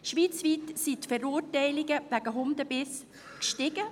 Schweizweit sind die Verurteilungen wegen Hundebissen gestiegen;